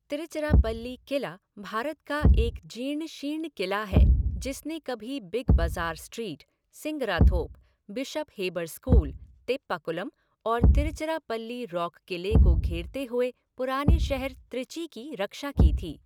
तिरुचिराप्पल्ली किला भारत का एक जीर्ण शीर्ण किला है जिसने कभी big bazaar street, Singarathope, bishop Heber school, Teppakulam और तिरुचिराप्पल्ली रॉक क़िले को घेरते हुए पुराने शहर त्रिची की रक्षा की थी।